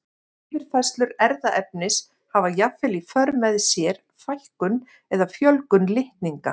Yfirfærslur erfðaefnis hafa jafnvel í för með sér fækkun eða fjölgun litninga.